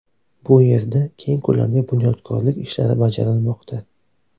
Bu yerda keng ko‘lamli bunyodkorlik ishlari bajarilmoqda.